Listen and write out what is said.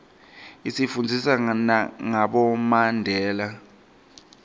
isifundzisa ngabomandela